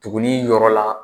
Tugunnin yɔrɔ la